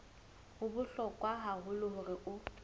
ho bohlokwa haholo hore o